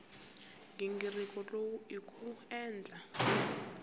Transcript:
nghingiriko lowu i ku endla